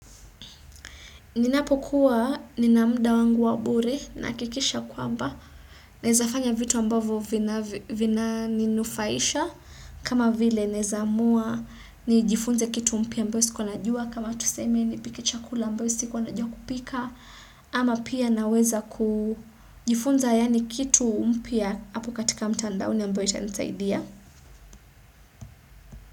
Ninapokuwa nina mda wangu wa bure nahakikisha kwamba nezafanya vitu ambavo vinaninufaisha kama vile nezaamua nijifunze kitu mpya ambayo sikua najua kama tuseme nipike chakula ambayo sikua najua kupika ama pia naweza kujifunza yaani kitu mpya apo katika mtandaoni ambayo itanisaidia.